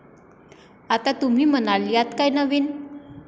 आता तुम्ही म्हणाल यात काय नवीन.